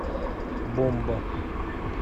бомба